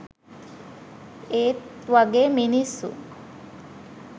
ඒත් වගේ මිනිස්සු